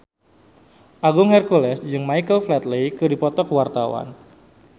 Agung Hercules jeung Michael Flatley keur dipoto ku wartawan